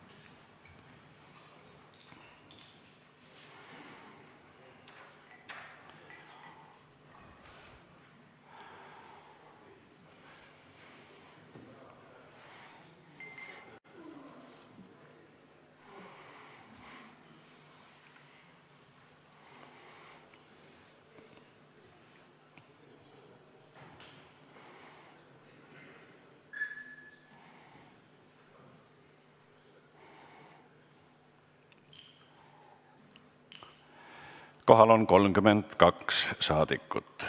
Kohaloleku kontroll Kohal on 32 saadikut.